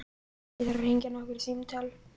Ég þarf að hringja nokkur símtöl.